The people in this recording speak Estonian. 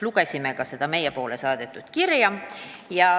Lugesime ka seda meile saadetud kirja.